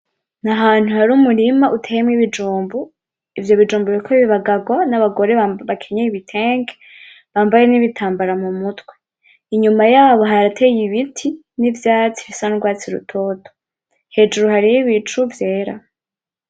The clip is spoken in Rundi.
N'ahantu hari umurima uteyemo ibijumbu, ivyobijumbu biriko bibagagwa n'abagore bakenyeye ibitenge bambaye n'ibitambaro mumutwe. Inyuma yabo harateye ibiti n'ivyatsi bisa n'ugwatsi rutoto, hejuru hariho ibicu vyera.